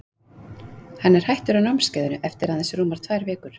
Hann er hættur á námskeiðinu eftir að aðeins rúmar tvær vikur.